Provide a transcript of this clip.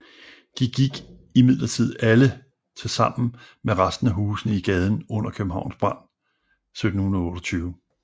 De gik imidlertid alle til sammen med resten af husene i gaden under Københavns brand 1728